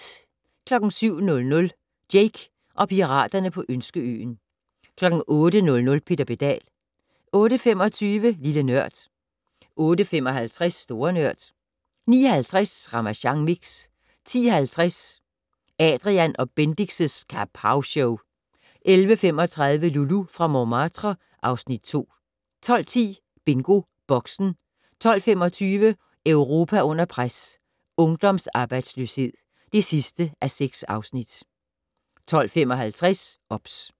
07:00: Jake og piraterne på Ønskeøen 08:00: Peter Pedal 08:25: Lille Nørd 08:55: Store Nørd 09:50: Ramasjang Mix 10:50: Adrian & Bendix' Kapowshow 11:35: Loulou fra Montmartre (Afs. 2) 12:10: BingoBoxen 12:25: Europa under pres: Ungdomsarbejdsløshed (6:6) 12:55: OBS